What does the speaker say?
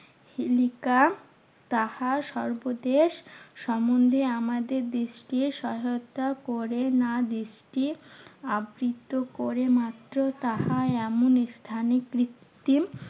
তাহা সর্বদেশ সম্মন্ধে আমাদের দেশকে সহায়তা করে না। দেশকে আবৃত্ত করে মাত্র তাহা এমন স্থানে কৃত্তিম